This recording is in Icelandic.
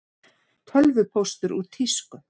Tölvupóstur úr tísku